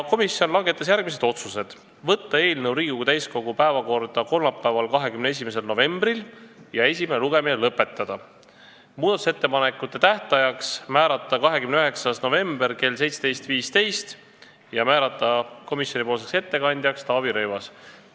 Komisjon langetas järgmised otsused: ettepanek võtta eelnõu Riigikogu täiskogu päevakorda kolmapäevaks, 21. novembriks ja esimene lugemine lõpetada, määrata muudatusettepanekute tähtajaks 29. november kell 17.15 ja komisjoni ettekandjaks Taavi Rõivas.